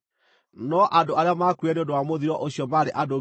no andũ arĩa maakuire nĩ ũndũ wa mũthiro ũcio maarĩ andũ 24,000.